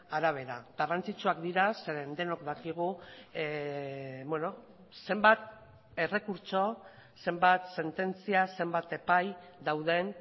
arabera garrantzitsuak dira zeren denok dakigu zenbat errekurtso zenbat sententzia zenbat epai dauden